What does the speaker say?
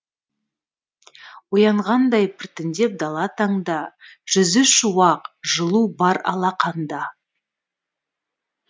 оянғандай біртіндеп дала таңда жүзі шуақ жылу бар алақанда